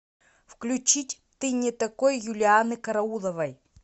включить ты не такой юлианны карауловой